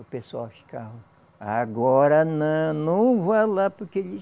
O pessoal ficava. Agora não, não vai lá porque eles...